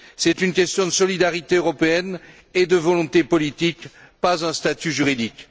C'est une question de solidarité européenne et de volonté politique, pas un statut juridique.